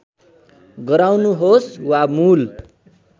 गराउनुहोस् वा मूल